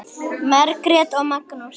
Margrét og Magnús.